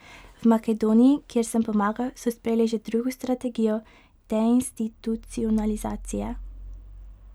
V Makedoniji, kjer sem pomagal, so sprejeli že drugo strategijo deinstitucionalizacije.